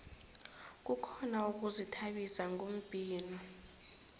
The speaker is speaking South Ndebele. kukhona ukuzithabisa ngombhino